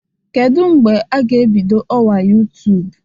Kedu mgbe a ga-ebido ọwa YouTube?